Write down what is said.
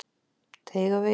Teigavegi